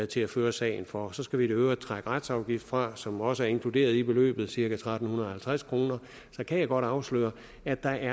til at føre sagen for så skal vi i øvrigt trække retsafgiften fra som også er inkluderet i beløbet cirka tretten halvtreds kroner så kan jeg godt afsløre at der